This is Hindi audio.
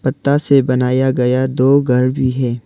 पत्ता से बनाया गया दो घर भी है।